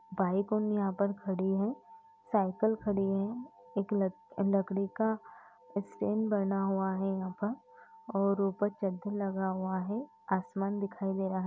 Bike ओ यहाँ पे खड़ी है। साइकिल खड़ी है। एक लकड़ी का स्टैंड बना हुआ है यहाँ पर और चददर लागा हुआ है। आसमान दिखायी दे रहा --